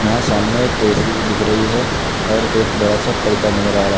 यहां सामने एक ऐ_सी भी दिख रही है और एक बड़ा सा पर्दा नजर आ रहा--